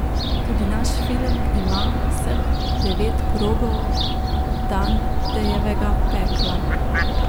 Tudi naš film ima vseh devet krogov Dantejevega Pekla.